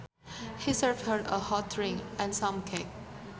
He served her a hot drink and some cake